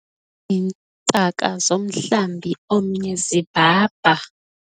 Iintaka zomhlambi omnye zibhabha.